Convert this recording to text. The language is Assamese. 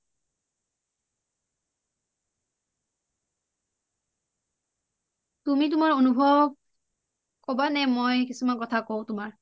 তুমি তোমাৰ অনুভৱ কবা নে মই কিছুমান কথা কও তোমাৰ